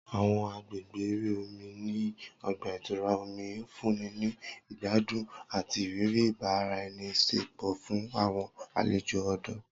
Awọn agbegbe ere omi ni ọgba-itura omi nfunni ni igbadun ati iriri ibaraenisepo fun awọn alejo ọdọ.